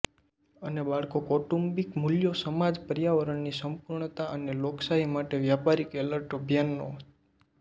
અને બાળકો કૌટુંબિક મૂલ્યો સમાજ પર્યાવરની સંપૂર્ણતા અને લોકશાહી માટે વ્યાપારિક એલર્ટ અભિયાનો